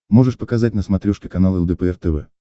можешь показать на смотрешке канал лдпр тв